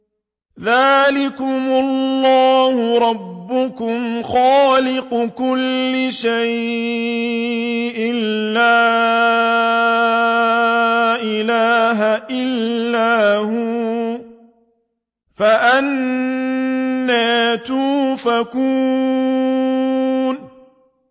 ذَٰلِكُمُ اللَّهُ رَبُّكُمْ خَالِقُ كُلِّ شَيْءٍ لَّا إِلَٰهَ إِلَّا هُوَ ۖ فَأَنَّىٰ تُؤْفَكُونَ